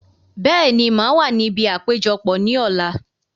Bẹ́ẹ̀ni, màá wà níbi àpéjọpọ̀ ní ọ̀la